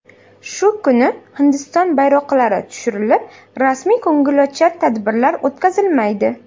Shu kuni Hindiston bayroqlari tushirilib, rasmiy ko‘ngilochar tadbirlar o‘tkazilmaydi.